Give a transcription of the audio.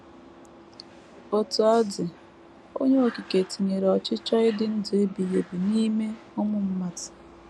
Otú ọ dị, Onye Okike tinyere ọchịchọ ịdị ndụ ebighị ebi n’ime ụmụ mmadụ.